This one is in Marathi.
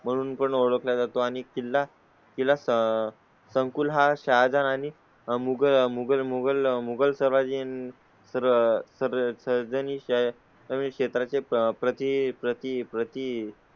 म्हणून पण ओळख ला जातो आणि किल्ला दिलासा संकुल हा शहाजान आणि मुघल मुघल मुगलसराय जीन. तर तर तर्जनी च्या कमी क्षेत्राचे प्रती प्रती प्रती प्रती